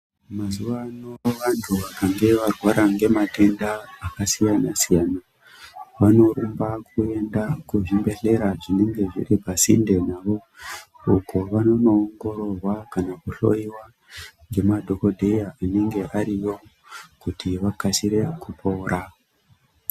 Mazuva ano vantu vakange varwara ngematenda akasiyana-siyana, vanorumba kuenda kuzvibhedhlera zvinenge zviri pasinde navo, uko vanondoongororwa kana kuhloyiwa ngemadhogodheya anenge ariyo kuti vakasire kupora.